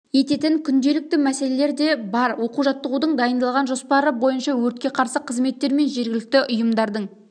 ететін күнделікті мәселелер де бар оқу-жаттығудың дайындалған жоспары бойынша өртке қарсы қызметтер мен жергілікті ұйымдардың